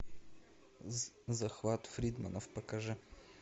захват фридманов покажи